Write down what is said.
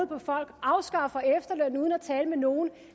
på folk afskaffer efterlønnen uden at tale med nogen